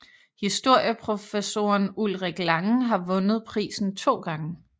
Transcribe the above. Historieprofessoren Ulrik Langen har vundet prisen to gange